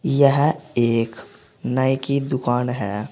यह एक नाई की दुकान है।